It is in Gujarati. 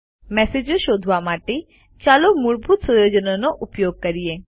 મેસેજો શોધવા માટે ચાલો મૂળભૂત સુયોજનોનો ઉપયોગ કરીએ